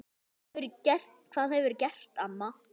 Hvað hefurðu gert amma?